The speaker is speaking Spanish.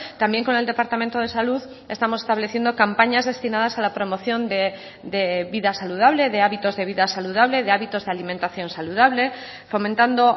también con el departamento de salud estamos estableciendo campañas destinadas a la promoción de vida saludable de hábitos de vida saludable de hábitos de alimentación saludable fomentando